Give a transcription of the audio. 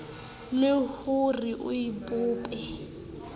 le ho re o bope